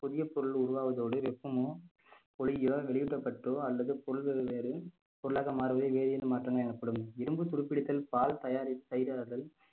புதிய பொருள் உருவாவதோடு வெப்பமும் ஒலியியோ வெளியூட்டப்பட்டோ அல்லது பொருள்களில் ஏதும் பொருளாக மாறுவதில் வேதியல் மாற்றங்கள் எனப்படும் இரும்பு துருப்பிடித்தல் பால் தயாரித்~தயிர்ராவுதல்